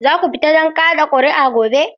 Za ku fita don ka da kuri'a gobe?